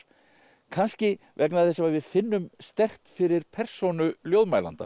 kannski vegna þess að við finnum sterkt fyrir persónu